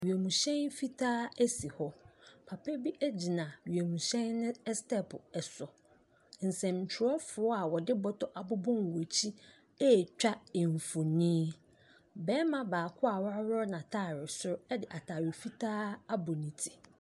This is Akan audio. Wiemhyɛn fitaa si hɔ. Papa bi gyina wiemhyɛn no stɛɛpo so. Nsɛntwerɛfoɔ a wɔde bɔtɔ abobɔ wɔn akyi retwa mfonin. Barima baako a waworɔ n'atade soro de atare fitaa abɔ ne ti.